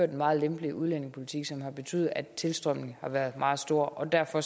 en meget lempelig udlændingepolitik som har betydet at tilstrømningen har været meget stor og derfor